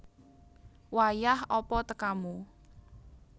Wayah apa tekamu